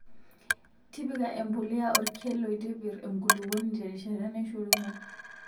tipika embulia orkel loitipir enkulupuoni terishata naishoruno